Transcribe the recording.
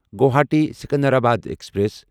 Guwahati Secunderabad express